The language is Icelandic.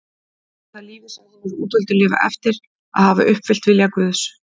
Er það lífið sem hinir útvöldu lifa eftir að hafa uppfyllt vilja Guðs?